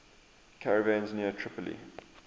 caravans near tripoli